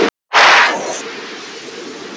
Alltaf svo stolt af mér.